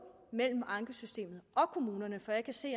mellem ankesystemet og kommunerne for jeg kan se